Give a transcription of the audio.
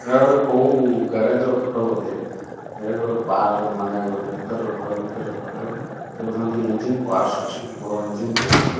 ଏଟା ଗୋଟେ କୋଉ ଗ୍ୟାରେଜ୍ ର ଫଟୋ ବୋଧେ ଏଠାରେ ଗୋଟେ ପାର୍କ୍ ର ମାନେ ଗୋଟେ ଭିତରର ଘର ଭିତରର ଫଟୋ ଦେଖୁଛନ୍ତି ଇଞ୍ଜିନ୍ ପାର୍ଟ୍ସ୍ ଅଛି ବଡ ଇଞ୍ଜିନ୍ ଟେ ଅଛି।